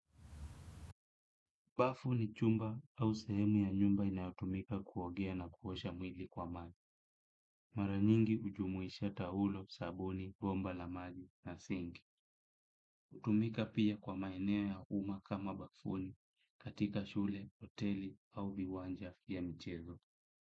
Bafu ni chumba au sehemu ya nyumba inayotumika kuogea na kuosha mwili kwa maji. Mara nyingi ujumuisha taulo, sabuni, bomba la maji na sinki. Utumika pia kwa maeneo ya umma kama bafuni katika shule, hoteli au viwanja vya michezo.